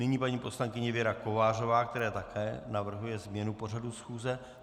Nyní paní poslankyně Věra Kovářová, která také navrhuje změnu pořadu schůze.